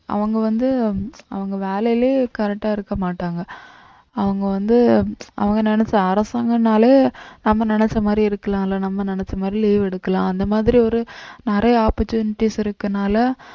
அவங்க வந்து அவங்க வேலையிலேயே correct ஆ இருக்க மாட்டாங்க அவங்க வந்து அவங்க நினைச்சா அரசாங்கம்னாலே நம்ம நினைச்ச மாதிரி இருக்கலாம்ல நம்ம நினைச்ச மாதிரி leave எடுக்கலாம் அந்த மாதிரி ஒரு நிறைய opportunities இருக்கனால